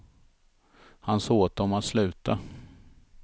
Han sa åt dem att sluta.